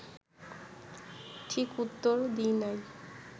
ঠিক উত্তর দিই নাই